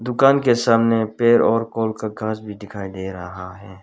दुकान के सामने पेड़ और कोल का गाछ भी दिखाई दे रहा है।